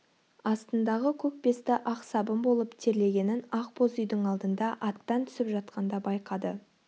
астындағы көк бесті ақ сабын болып терлегенін ақ боз үйдің алдында аттан түсіп жатқанда байқады